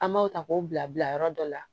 An b'aw ta k'o bila yɔrɔ dɔ la